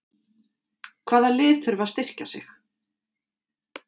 Hvaða lið þurfa að styrkja sig?